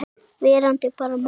Verandi bara maður.